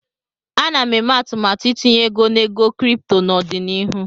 Ana m eme atụmatụ itinye ego na ego kripto n'ọdịnihu.